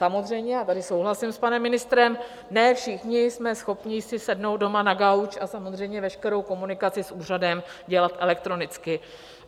Samozřejmě, a tady souhlasím s panem ministrem, ne všichni jsme schopni si sednout doma na gauč a samozřejmě veškerou komunikaci s úřadem dělat elektronicky.